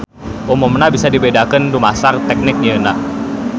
Umumna bisa dibedakeun dumasar tehnik nyieunna.